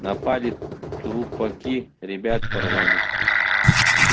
напали трупаки ребят порвали